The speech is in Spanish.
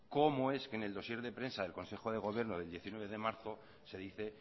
cómo es que en el dossier de prensa del consejo de gobierno del diecinueve de marzo se dice